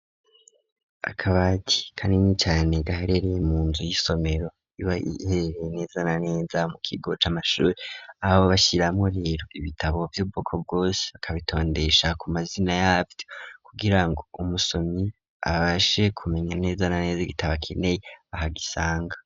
Akabati kanini cane gaherereye mu nzu y'isomero iba iherereye neza na neza mu kigo c'amashuri aho bashiramwo rero ibitabo vy'ubwoko bwose bakabitondesha ku mazina yavyo kugirango umusomyi abashe ku menya neza na neza igitabo akeneye aho agisanga.